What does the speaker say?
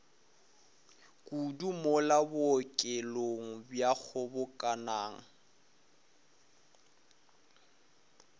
kudu mola bookelong bja kgobokanang